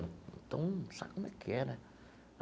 Então, sabe como é que é, né?